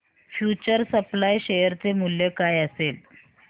future supply share चे मूल्य काय असेल